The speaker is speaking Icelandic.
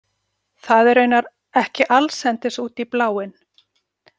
Það er raunar ekki allsendis út í bláinn.